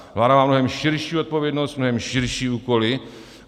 Vláda má mnohem širší odpovědnost, mnohem širší úkoly.